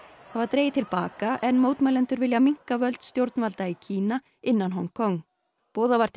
það var dregið til baka en mótmælendur vilja minnka völd stjórnvalda í Kína innan Hong Kong boðað var til